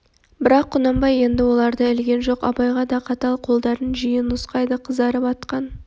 бірақ құнанбай енді оларды ілген жоқ абайға да қатал қолдарын жиі нұсқайды қызарып атқан